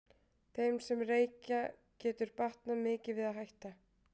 Þeim sem reykja getur batnað mikið við að hætta.